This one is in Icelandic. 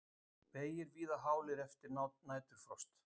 Vegir víða hálir eftir næturfrost